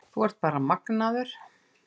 Þú ert bara magnaður.